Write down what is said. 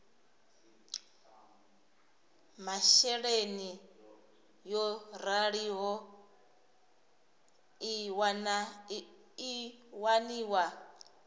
masheleni yo raliho i waniwa